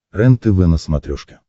рентв на смотрешке